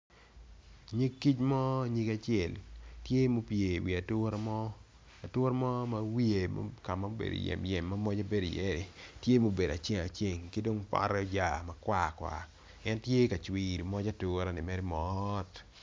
Cing kic mo nyige acel tye ma opye i wi ature mo ature mo ka ma obedo yem yem ka ma moje bedo i iye tye ma obedo acel acel ki dong dong pote oya makwar kwar en tye ka cwino moj atureni mere mot